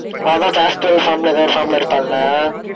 அதான் fastal form ல ஏதோ ஒரு form ல இருப்பான்ல?